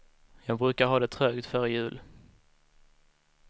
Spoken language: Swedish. Jag brukar ha det trögt före jul.